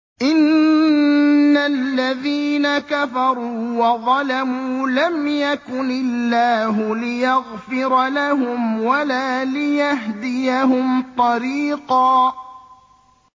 إِنَّ الَّذِينَ كَفَرُوا وَظَلَمُوا لَمْ يَكُنِ اللَّهُ لِيَغْفِرَ لَهُمْ وَلَا لِيَهْدِيَهُمْ طَرِيقًا